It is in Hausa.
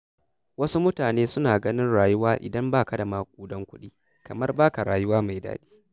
Wasu mutane suna ganin rayuwa idan ba ka da maƙudan kuɗi, kamar ba ka rayuwa mai daɗi.